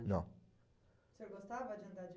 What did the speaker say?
Não. O senhor gostava de andar de